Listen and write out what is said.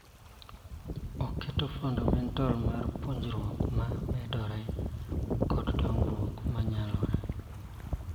Oketo fundament mar puonjruok ma medore kod dongruok mar nyalo.